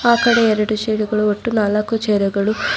ಆಕಡೆ ಎರಡು ಚೇಡುಗಳು ಒಟ್ಟು ನಾಲ್ಕು ಚೇರುಗಳು--